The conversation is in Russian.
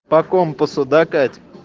по компасу до кать